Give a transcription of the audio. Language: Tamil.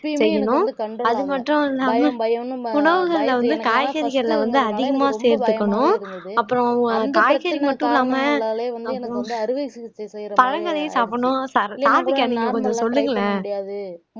செய்யணும் அது மட்டும் இல்லாம உணவுகள்ல வந்து காய்கறிகள்ல வந்து அதிகமா சேர்த்துக்கணும் அப்புறம் காய்கறிகள் மட்டும் இல்லாம நம்ம பழங்களையே சாப்பிடணும் சர் சாருவிகா நீங்க கொஞ்சம் சொல்லுங்களேன்